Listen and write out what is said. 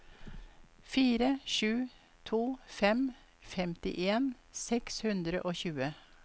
fire sju to fem femtien seks hundre og tjue